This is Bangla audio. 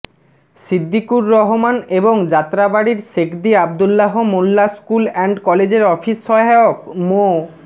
সিদ্দিুকুর রহমান এবং যাত্রাবাড়ীর শেখদী আব্দুল্লাহ মোল্লা স্কুল অ্যান্ড কলেজের অফিস সহায়ক মো